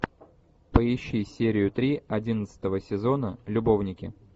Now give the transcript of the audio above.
поищи серию три одиннадцатого сезона любовники